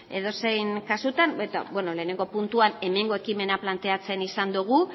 edozein kasutan beno lehenengo puntuan hemengo ekimena planteatzen izan dugu